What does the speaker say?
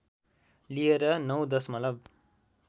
लिएर ९ दशमलव